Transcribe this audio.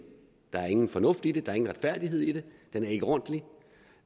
der er ingen fornuft i det der er ingen retfærdighed i det den er ikke ordentlig